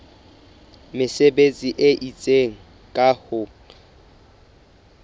mesebetsi e itseng ka ho